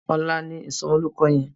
Òlà ni isòmòlórúkò yèn